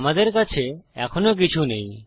আমাদের কাছে এখনও কিছু নেই